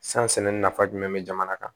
San sɛnɛ nafa jumɛn be jamana kan